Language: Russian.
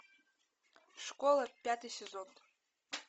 школа пятый сезон